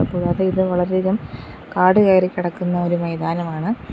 കൂടാതെ ഇത് വളരെയധികം കാട് കയറിക്കിടക്കുന്ന ഒരു മൈതാനമാണ്.